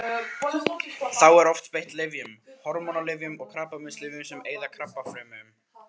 Þá er oft beitt lyfjum: hormónalyfjum og krabbameinslyfjum sem eyða krabbafrumum.